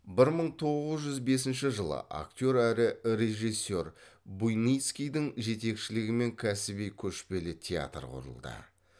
бір мың тоғыз жүз бесінші жылы актер әрі рижессер буйницкийдің жетекшілігімен кәсіби көшпелі театр құрылды